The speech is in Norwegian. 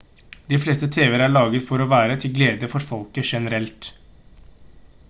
de fleste tv-er er laget for å være til glede for folk generelt